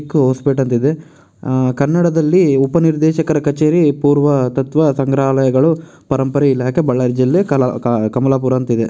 ಕೋ hospital ಇದೆ ಅಹ್ ಕನ್ನಡದಲ್ಲಿ ಉಪನಿರ್ದೇಶಕರ ಕಚೇರಿ ಪೂರ್ವ ತತ್ವ ಸಂಗ್ರಹಾಲಯಗಳು ಪರಂಪರೆ ಇಲಾಖೆ ಬಳ್ಳಾರಿ ಜಿಲ್ಲೆ ಕಲಾ ಅಹ್ ಕಮಲಾಪುರ ಅಂತಿದೆ.